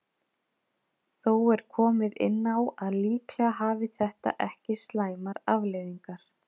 Þó er komið inn á að líklega hafi þetta ekki slæmar afleiðingar.